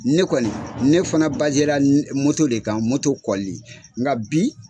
Ne kɔni ne fana la le kan kɔli nka bi